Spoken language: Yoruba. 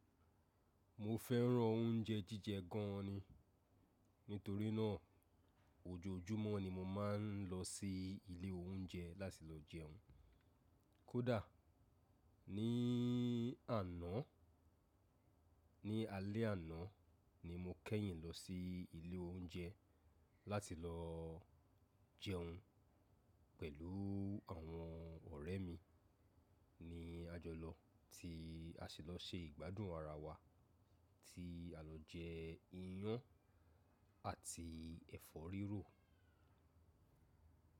Mo fẹ́ràn oúnjẹ jíjẹ gan ni. Nítorí náà, ojoojúmọ́ ni mo máa ń lọ sí ilé oúnjẹ láti lọ jẹun. Kódà ní àná, ní alé àná ni mo kẹ́yìn lọ sí ilé oúnjẹ láti lọ jẹun pẹ̀lú àwọn ọ̀rẹ́ mi ni àjọlọ tí a sì lọ se ìgbádùn ara wa tí a lọ jẹ iyán àti ẹ̀fọ́ rírò.